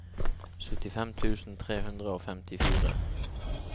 syttifem tusen tre hundre og femtifire